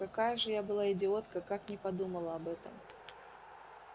какая же я была идиотка как не подумала об этом